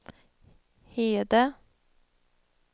Hede